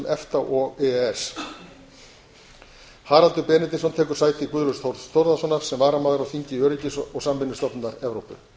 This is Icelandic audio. efta og e e s haraldur benediktsson tekur sæti guðlaugs þórs þórðarsonar sem varamaður á þingi öryggis og samvinnustofnunar evrópu